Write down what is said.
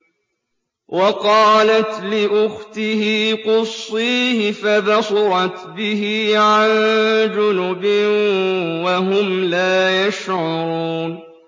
وَقَالَتْ لِأُخْتِهِ قُصِّيهِ ۖ فَبَصُرَتْ بِهِ عَن جُنُبٍ وَهُمْ لَا يَشْعُرُونَ